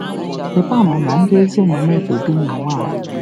Rịba ama na ndị ezi omume ga-ebi n'ụwa a.